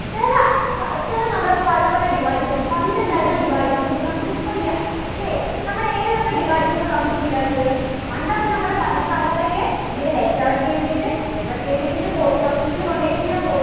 ചെല ഇപ്പോ ഇപ്പോഴും നമ്മുടെ പല പല devices ഉം പണ്ട് ഉണ്ടായിരുന്ന devices ന് നമുക്ക് ഇപ്പോ ഇല്ല അല്ലേ? നമ്മുടെ ഏതൊക്കെ devices ആണ് നമുക്ക് ഇപ്പോ ഇല്ലാത്തത്? പണ്ടൊക്കെ നമ്മള് പണ്ടത്തെ ആൾക്കാരൊക്കെ ഇങ്ങനെ letters എഴുതിയിട്ട് letter ഒക്കെ എഴുതിയിട്ട് ഇങ്ങനെ post office ൽ കൊണ്ടു പോയിട്ട് ഇങ്ങനെ